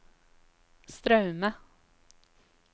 Straume